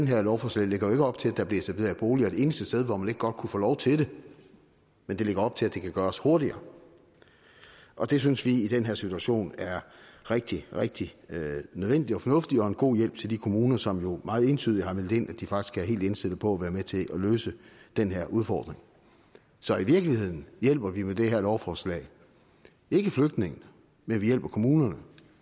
her lovforslag lægger jo ikke op til at der bliver etableret boliger et eneste sted hvor man ikke godt kunne få lov til det men det lægger op til at det kan gøres hurtigere og det synes vi i den her situation er rigtig rigtig nødvendigt og fornuftigt og en god hjælp til de kommuner som jo meget entydigt har meldt ind at de faktisk er helt indstillet på at være med til at løse den her udfordring så i virkeligheden hjælper vi med det her lovforslag ikke flygtningene men vi hjælper kommunerne